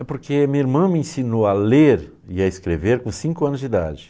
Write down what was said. É porque minha irmã me ensinou a ler e a escrever com cinco anos de idade.